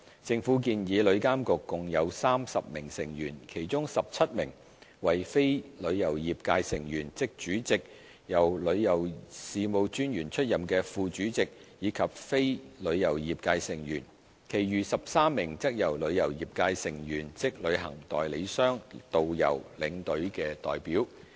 政府建議旅監局共有30名成員，其中17名為非旅遊業界成員，即主席、由旅遊事務專員出任的副主席，以及非旅遊業界成員；其餘13名則為旅遊業界成員，即旅行代理商、導遊和領隊的代表。